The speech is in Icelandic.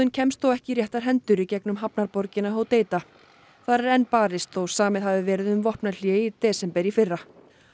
kemst þó ekki í réttar hendur í gegnum hafnarborgina Hodeida þar er enn barist þótt samið hafi verið um vopnahlé í desember í fyrra